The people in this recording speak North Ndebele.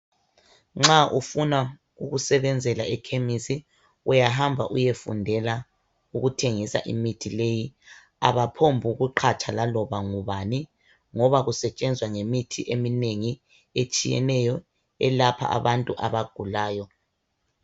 Nxa ufuna ukusebenzela ekhemesi uyahamba uyefundela ukuthengisa imithi leyi abaphonguqhatsha laloba ngubani ngoba kusetshenza ngemithi eminengi etshiyeneyo elapha abantu abagulayo.